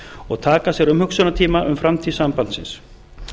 og taka sér umhugsunartíma um framtíð sambandsins